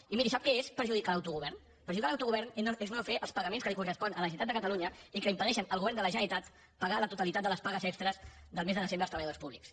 i miri sap què és perjudicar l’autogovern perjudicar l’autogovern és no fer els pagaments que li corresponen a la generalitat de catalunya i que impedeixen al govern de la generalitat pagar la totalitat de les pagues extres del mes de desembre als treballadors públics